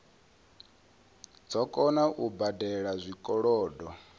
dzo kona u badela zwikolodo